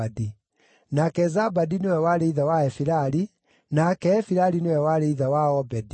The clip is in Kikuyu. nake Zabadi nĩwe warĩ ithe wa Efilali, nake Efilali nĩwe warĩ ithe wa Obedi,